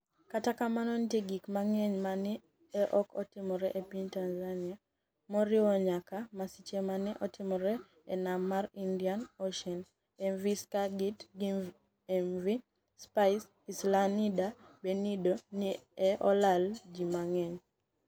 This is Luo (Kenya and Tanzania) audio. Kata kamano, niitie gik manig'eniy ma ni e ok otimore e piniy Tanizaniia, moriwo niyaka masiche ma ni e otimore e niam mar Inidiani Oceani. MV Skagit giMV Spice Islanider benide ni e olalo ji manig'eniy.